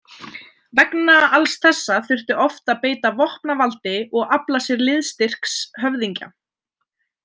Vegna alls þessa þurfti oft að beita vopnavaldi og afla sér liðstyrks höfðingja.